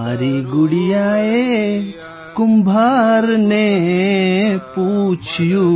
મારી ગુડિયાએ કુંભારને પૂછ્યું